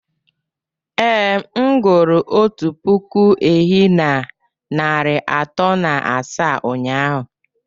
Ee, m gụrụ otu puku ehi na narị atọ na asaa ụnyahụ